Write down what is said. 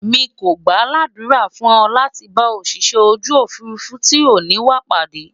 mí kò gbà l'adura fún e láti bá Òṣìṣẹ́ ojú òfurufú tí o ni wà pàdé